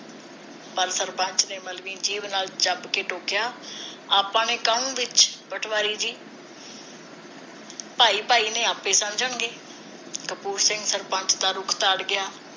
ਪਰ ਸਰਪੰਚ ਨੇ ਮਲਵੀ ਜੀਭ ਨਾਲ ਕੇ ਟੋਕਿਆ ਆਪਾ ਨੇ ਕਾਹਨੂੰ ਵਿਚ ਪਟਵਾਰੀ ਜੀ ਭਾਈ ਭਾਈ ਨੇ ਆਪਣੇ ਸਮਝਣਗੇ ਕਪੂਰ ਸਿੰਘ ਸਰਪੰਚ ਦਾ ਰੁਖ ਧਾਰ ਗਿਆ